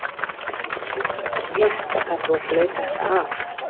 Þér hlýtur að vera létt að það er búið að flauta þetta af?